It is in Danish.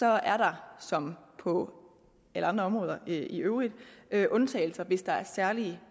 er der som på alle andre områder i øvrigt undtagelser hvis der er særlige